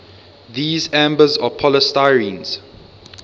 these ambers are polystyrenes